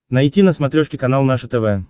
найти на смотрешке канал наше тв